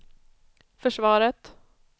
försvaret